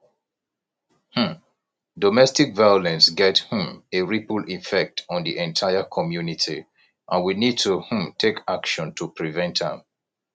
um domestic violence get um a ripple effect on di entire community and we need to um take action to prevent am